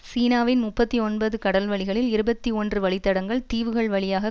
சீனாவின் முப்பத்தி ஒன்பது கடல்வழிகளில் இருபத்தி ஒன்று வழித்தடங்கள் தீவுகள் வழியாக